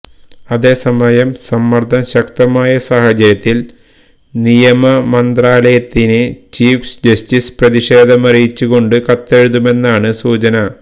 അതേസമയം സമ്മര്ദം ശക്തമായ സാഹചര്യത്തില് നിയമമന്ത്രാലയത്തിന് ചീഫ് ജസ്റ്റിസ് പ്രതിഷേധമറിയിച്ച് കൊണ്ട് കത്തെഴുതുമെന്നാണ് സൂചന